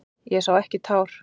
Ég sá ekki tár.